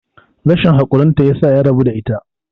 rashin haƙurinta ya sa ya rabu da ita